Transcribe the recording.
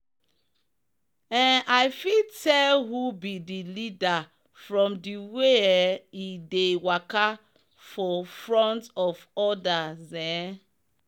um i fit tell who be the leaderfrom the way um e dey waka for front of others. um